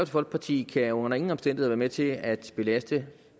folkeparti kan under ingen omstændigheder være med til at belaste